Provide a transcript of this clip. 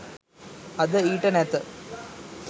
අද ඊට නැත